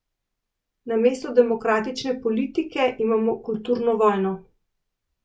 Namesto demokratične politike imamo kulturno vojno.